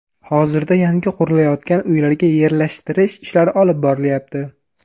Hozirda yangi qurilayotgan uylarga yerlashtirish ishlari olib borilyapti.